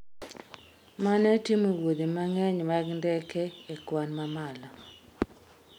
mane timo wuodhe mang'eny mag ndeke e kwan mamalo